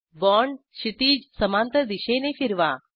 bond क्षितीज समांतर दिशेने फिरवा